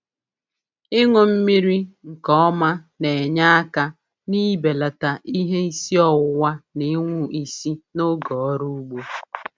Ịṅụ mmiri nke ọma na-enye aka n'ibelata ihe isi ọwụwa na ịṅwụ isi n'oge ọrụ ugbo.